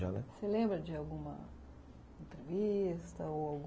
Já, Você lembra de alguma entrevista ou ...